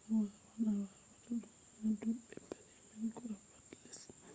a wawan a wata ɗum ha dubbe paɗe man ko ha pat les man